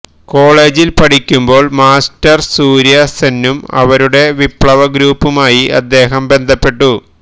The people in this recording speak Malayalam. കോളേജിൽ പഠിക്കുമ്പോൾ മാസ്റ്റേർ സൂര്യ സെന്നും അവരുടെ വിപ്ലവ ഗ്രൂപ്പുമായി അദ്ദേഹം ബന്ധപ്പെട്ടു